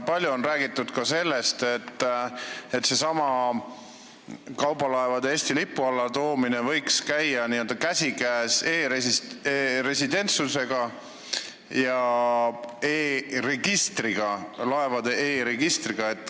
Palju on räägitud ka sellest, et kaubalaevade Eesti lipu alla toomine võiks käia käsikäes e-residentsusega ja laevade e-registriga.